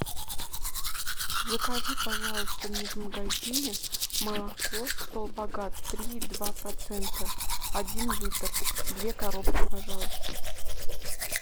закажи пожалуйста мне в магазине молоко столбогат три и два процента один литр две коробки пожалуйста